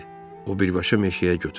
O birbaşa meşəyə götürüldü.